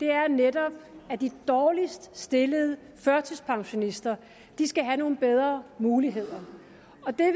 er netop at de dårligst stillede førtidspensionister skal have nogle bedre muligheder